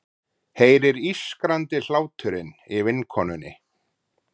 Heyrir ískrandi hláturinn í vinkonunni.